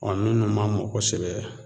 minnu ma mɔ kɔsɛbɛ